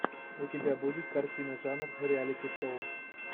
у тебя будет картина жанр реалити шоу